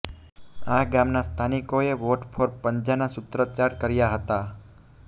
આ ગામના સ્થાનિકોએ વોટ ફોર પંજાના સુત્રોચાર કર્યા હતાં